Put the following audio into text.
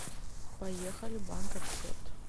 поехали банк акцепт